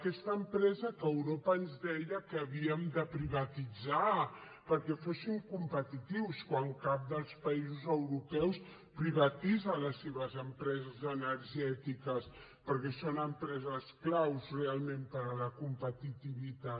aquesta empresa que europa ens deia que havíem de privatitzar perquè fóssim competitius quan cap dels països europeus privatitza les seves empreses energètiques perquè són empreses clau realment per a la competitivitat